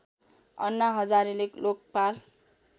अन्ना हजारेले लोकपाल